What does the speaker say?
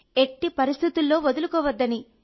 ఎట్టి పరిస్థితుల్లో వదులుకోవద్దని